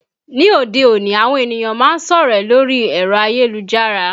Ní òde òní àwọn ènìyàn máa ń sọ̀rẹ́ lórí ẹ̀rọ ayélujára